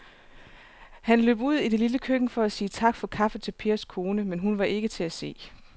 Han løb ud i det lille køkken for at sige tak for kaffe til Pers kone, men hun var ikke til at se.